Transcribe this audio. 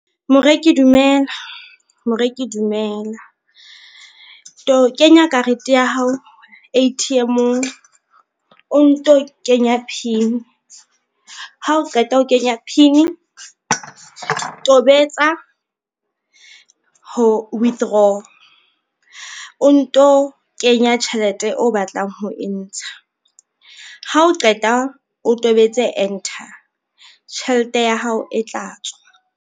Moreki dumela, moreki dumela. Kenya karete ya hao A_T_M-ong o nto kenya PIN, ha o qeta ho kenya PIN tobetsa ho withdraw o nto kenya tjhelete o batlang ho e ntsha, ha o qeta o tobetse enter tjhelete ya hao e tla tswa.